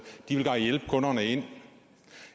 de vil bare hjælpe kunderne ind